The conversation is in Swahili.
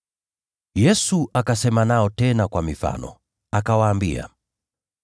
Yesu akasema nao tena kwa mifano, akawaambia,